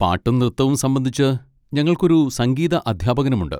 പാട്ടും നൃത്തവും സംബന്ധിച്ച്, ഞങ്ങൾക്ക് ഒരു സംഗീത അധ്യാപകനുമുണ്ട്.